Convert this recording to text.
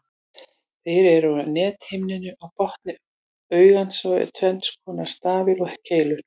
Þeir eru á nethimnunni á botni augans og eru tvenns konar, stafir og keilur.